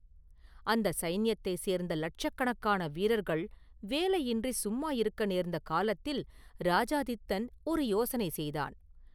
அந்தச் சைன்யத்தைச் சேர்ந்த லட்சக்கணக்கான வீரர்கள் வேலையின்றி சும்மா இருக்க நேர்ந்த காலத்தில் இராஜாதித்தன் ஒரு யோசனை செய்தான்.